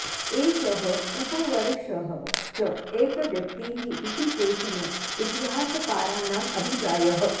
एषः उपवर्षः च एकव्यक्तिः इति केचन इतिहासकाराणाम् अभिप्रायः